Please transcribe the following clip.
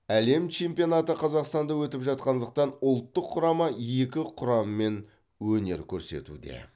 әлем чемпионаты қазақстанда өтіп жатқандықтан ұлттық құрама екі құраммен өнер көрсетуде